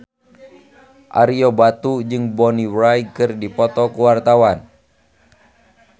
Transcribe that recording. Ario Batu jeung Bonnie Wright keur dipoto ku wartawan